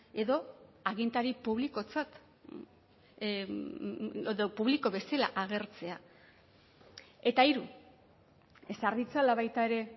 edo agintari publikotzat edo publiko bezala agertzea eta hiru ezar ditzala baita ere